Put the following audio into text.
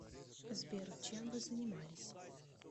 сбер чем вы занимались